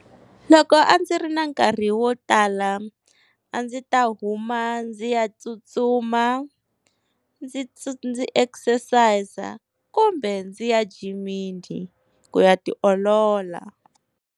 Loko a ndzi ri na nkarhi wo tala a ndzi ta huma ndzi ya tsutsuma ndzi ndzi exercise kumbe ndzi ya jimini ku ya tiolola.